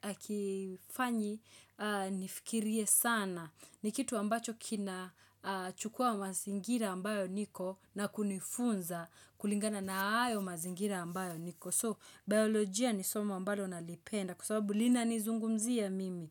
hakifanyi nifikirie sana ni kitu ambacho kinachukua mazingira ambayo niko na kunifunza kulingana na hayo mazingira ambayo niko So biologia ni somo ambalo nalipenda kwa sababu linanizungumzia mimi.